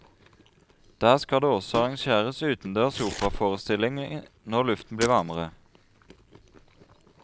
Der skal det også arrangeres utendørs operaforestilling når luften blir varmere.